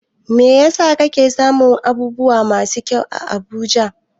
Me yasa ake samun abubuwa masu kyau a Abuja?